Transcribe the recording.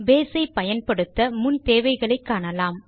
base ஐ பயன்படுத்த முன் தேவைகளை காணலாம்